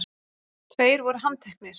Tveir voru handtekni